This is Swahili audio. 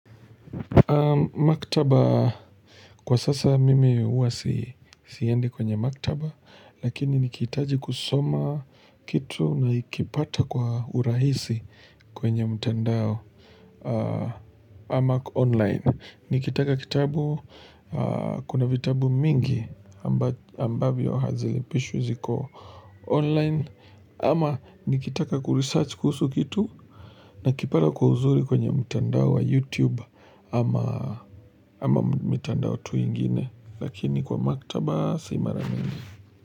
Maktaba kwa sasa mimi huwa siende kwenye maktaba Lakini nikitaji kusoma kitu na ikipata kwa urahisi kwenye mtandao ama online Nikitaka kitabu kuna vitabu mingi ambavyo hazilipishwi ziko online ama nikitaka kuresearch kuhusu kitu na kipada kuhuzuri kwenye mtandao wa YouTube ama mtandao tuingine Lakini kwa maktaba si mara mingi.